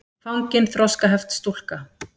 fangin þroskaheft stúlka.